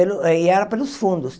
Pelo e era pelos fundos.